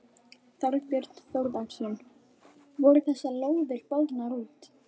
Þorbjörn Þórðarson: Voru þessar lóðir boðnar út?